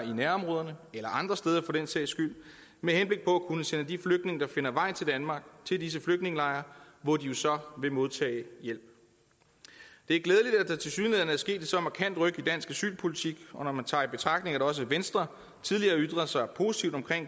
i nærområderne eller andre steder for den sags skyld med henblik på at kunne sende de flygtninge der finder vej til danmark til disse flygtningelejre hvor de jo så vil modtage hjælp det er glædeligt at der tilsyneladende er sket et så markant ryk i dansk asylpolitik og når man tager i betragtning at også venstre tidligere ytrede sig positivt om